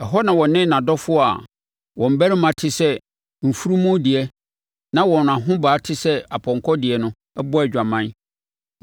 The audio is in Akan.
Ɛhɔ na ɔne nʼadɔfoɔ a wɔn barima te sɛ mfunumu deɛ na wɔn ahobaa te sɛ apɔnkɔ deɛ no bɔɔ adwaman.